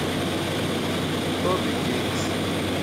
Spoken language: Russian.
хобби геймс